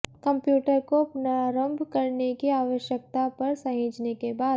computer को पुनरारंभ करने की आवश्यकता पर सहेजने के बाद